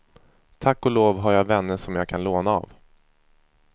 Tack och lov har jag vänner som jag kan låna av.